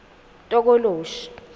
tokoloshi